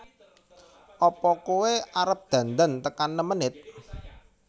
Apa koe arep dandan tekan nem menit